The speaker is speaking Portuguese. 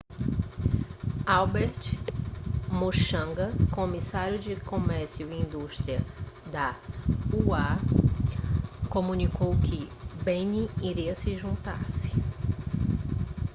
albert muchanga comissário de comércio e indústria da ua comunicou que benin iria juntar-se